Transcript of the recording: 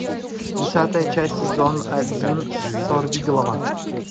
десятая часть сезон один сорвиголова